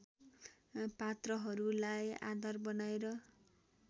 पात्रहरूलाई आधार बनाएर